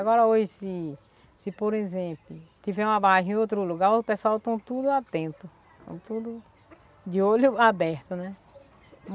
Agora hoje, se se por exemplo, tiver uma barragem em outro lugar, o pessoal estão tudo atento, estão tudo de olho aberto, né?